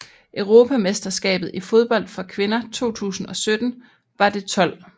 Europamesterskabet i fodbold for kvinder 2017 var det 12